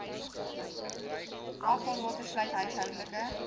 afvalwater sluit huishoudelike